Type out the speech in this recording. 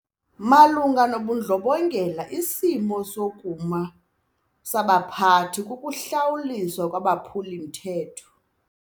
Malunga nobundlobongela isimo sokuma sabaphathi kukuhlawuliswa kwabaphuli-mthetho.